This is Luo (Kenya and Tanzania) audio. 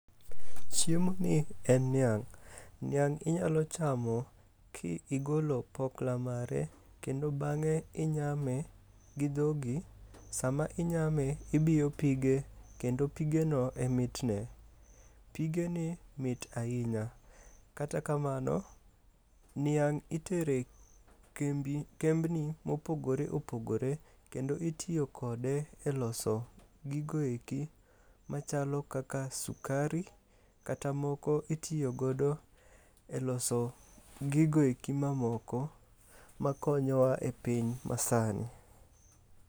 Chiemoni en niang'. Niang' inyalo chamo ki igolo pokla mage kendo bang'e inyame gi dhogi, sama inyame ibiyo pige kendo pigeno e mitne. Pigeni mit ahinya, kata kamano, niang' itere kembni mopogore opogore kendo itiyo kode e loso gigo eki machalo kaka sukari kata moko iotiyogodo e loso gigoeki mamoko makonyowa e piny masani.